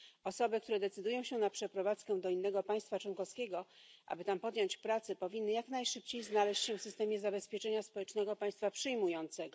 Osoby, które decydują się na przeprowadzkę do innego państwa członkowskiego, aby tam podjąć pracę, powinny jak najszybciej znaleźć się w systemie zabezpieczenia społecznego państwa przyjmującego.